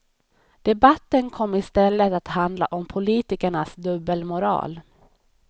Debatten kom istället att handla om politikernas dubbelmoral.